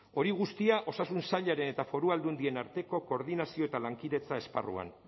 hori guztia osasun sailaren eta foru aldundien arteko koordinazio eta lankidetza esparruan